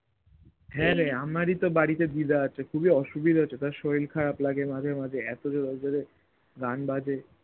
হ্যাঁ রে আমারি তো বাড়িতে দিদা আছে খুবই অসুবিধা হচ্ছে তার শরীর খারাপ লাগে মাঝে মাঝে এত জোরে জোরে গান বাজে